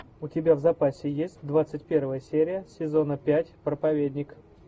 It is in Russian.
у тебя в запасе есть двадцать первая серия сезона пять проповедник